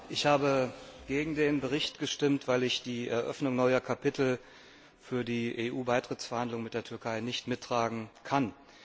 Ich habe gegen den Bericht gestimmt, weil ich die Eröffnung neuer Kapitel für die EU Beitrittsverhandlungen mit der Türkei nicht mittragen kann.